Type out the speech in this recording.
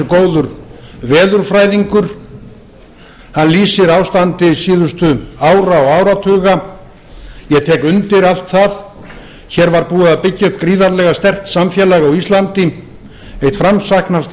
góður veðurfræðingur hann lýsir ástandi síðustu ára og áratuga ég tek undir allt það hér var búið að byggja upp gríðarlega sterkt samfélag á íslandi eitt framsæknasta